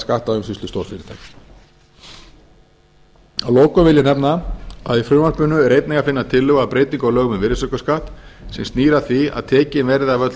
skattaumsýslu stórfyrirtækja að lokum vil ég nefna að í frumvarpinu er einnig að finna tillögu að breytingu á lögum um virðisaukaskatt sem snýr að því að tekin verði af öll